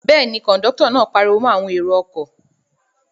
Bẹ́ẹ̀ ni, kọ̀ńdọ́tọ̀ náà pariwo mọ́ àwọn èrò-ọkọ̀.